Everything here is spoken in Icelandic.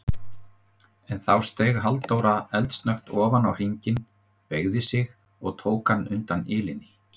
En þá steig Halldóra eldsnöggt ofan á hringinn, beygði sig og tók hann undan ilinni.